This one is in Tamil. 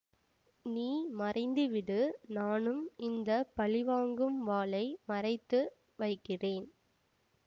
நீ மறைந்துவிடுநானும் இந்த பழிவாங்கும் வாளை மறைத்து வைக்கிறேன்